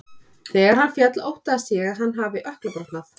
Þegar hann féll óttaðist ég að hann hafi ökkla brotnað.